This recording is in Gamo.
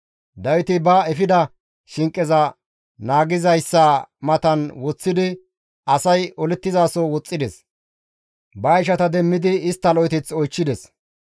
Dawiti ba efida shinqeza naagizayssa matan woththidi asay olettizaso woxxides; ba ishata demmidi istta lo7eteth oychchides.